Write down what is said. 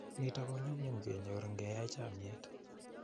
Nitok ko nyum nyum kenyor ngeyai chomnyeet.